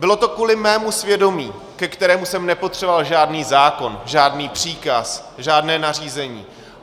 Bylo to kvůli mému svědomí, ke kterému jsem nepotřeboval žádný zákon, žádný příkaz, žádné nařízení.